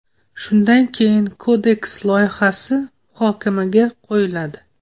Shundan keyin Kodeks loyihasi muhokamaga qo‘yiladi.